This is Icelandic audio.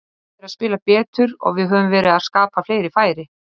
Liðið er að spila betur og við höfum verið að skapa fleiri færi.